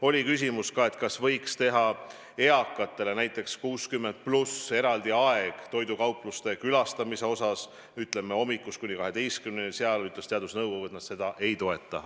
Oli küsimus ka, kas võiks kehtestada eakatele, näiteks 60+ inimestele eraldi aja toidukaupluste külastamiseks, ütleme, hommikust kuni kaheteistkümneni – selle kohta ütles teadusnõukogu, et nad seda ei toeta.